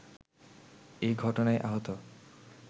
এ ঘটনায় আহত